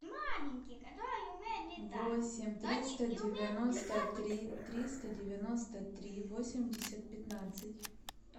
восемь триста девяносто три триста девяносто три восемьдесят пятнадцать